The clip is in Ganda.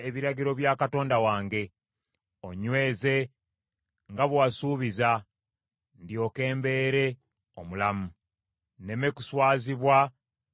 Onnyweze nga bwe wasuubiza, ndyoke mbeere omulamu; nneme kuswazibwa ne nzigwamu essuubi.